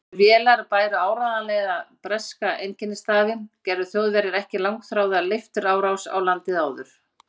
Þær vélar bæru áreiðanlega breska einkennisstafi, gerðu Þjóðverjar ekki langþráða leifturárás á landið áður.